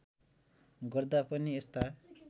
गर्दा पनि यस्ता